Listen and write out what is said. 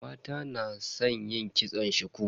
Mata na san yin kitson shuku.